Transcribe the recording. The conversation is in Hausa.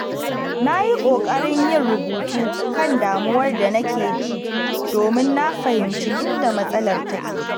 Na yi ƙoƙarin yin rubutu kan damuwar da nake ji domin na fahimci inda matsalar take.